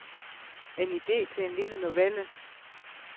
En ide til en lille novelle.